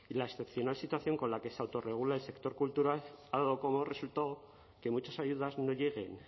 la excepcional situación con la que se autorregula el sector cultural ha dado como resultado que muchas ayudas no lleguen